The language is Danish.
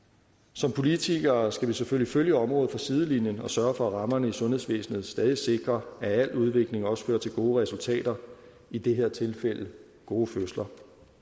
som politikere skal vi selvfølgelig følge området fra sidelinjen og sørge for at rammerne i sundhedsvæsenet stadig sikrer at al udvikling også fører til gode resultater i det her tilfælde gode fødsler